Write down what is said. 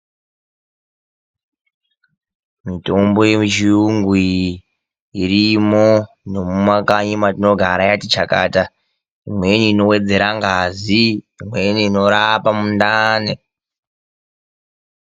Mitombo yemuchiyungu iyi irimo nomumakanyi matinogara yakati chakata. Imweni inowedzirea ngazi, imweni inorapa mundani.